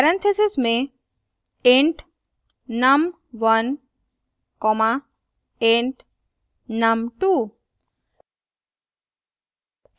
parentheses में int num1 comma int num2